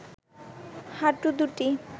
হাঁটু দুটি